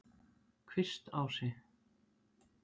Kvistási